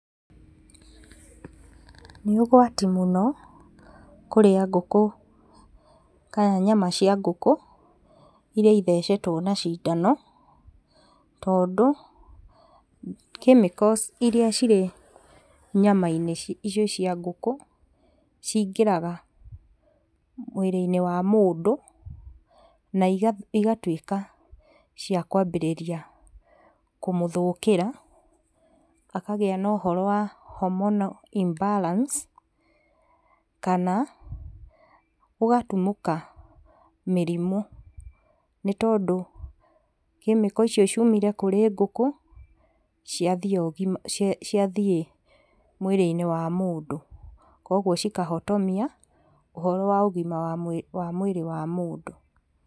Nĩ ũgwati mũno kũrĩa ngũkũ kana nyama cia ngũkũ iria ithecetwo na cindano. Tondũ chemicals iria cirĩ nyama-inĩ icio cia ngũkũ cingĩraga mwĩrĩ-inĩ wa mũndũ, na igatuĩka cia kũambĩrĩria kũmũthũkĩra akagĩa na ũhoro wa hormonal imbalance kana, gũgatumũka mĩrimũ, nĩ tondũ chemical icio ciumire kũrĩ ngũkũ ciathiĩ mwĩrĩ-inĩ wa mũndũ kogwo cikahotomia ũhoro wa ũgima wa mwĩrĩ wa mũndũ.